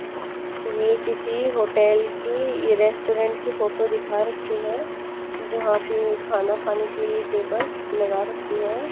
यह किसी होटल की रेस्टोरेंट की फोटो दिखा रखी है। जहां पे खाना खाने के लिए टेबल्स लगा रखी है।